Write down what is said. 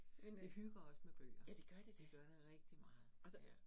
Men øh, ja det gør det da, og så